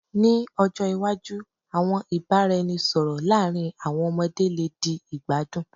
Ni ojo iwaju, awọn ibaraẹnisọrọ laarin awọn ọmọde le di igbadun